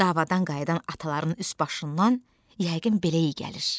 Davadan qayıdan ataların üst-başından yəqin belə iy gəlir.